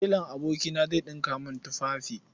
Telan abokina zai ɗinka min tufafi.